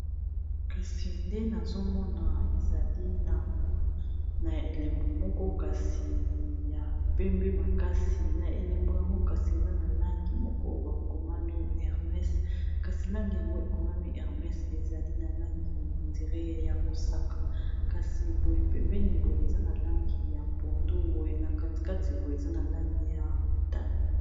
Kasi nde nazomona, ezali na elembo moko kasi ya pembe makasi, na elembo yango kasi eza na langi moko bakomami ermes, kasi langi yango ekomami hermes, ezali na langi neti ya mosaka, kasi boye pembeni eza na langi ya pondu, na kati eza na langi ya motane.